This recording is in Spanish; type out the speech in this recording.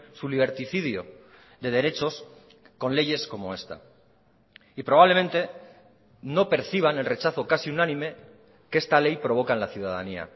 su liberticidio de derechos con leyes como esta y probablemente no perciban el rechazo casi unánime que esta ley provoca en la ciudadanía